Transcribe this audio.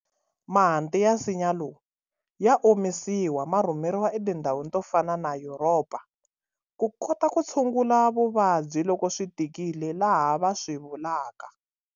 Mahanti ya nsinya lowu ya omisiwa ma rhumeriwa etindhawini to fana na Yuropa ku kota ku tshungula vuvabyi loko swi tikile laha va swi vulaka.